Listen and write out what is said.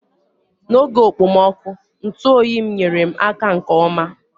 N'oge okpomọkụ, ntụ oyi m nyere m aka nke ọma.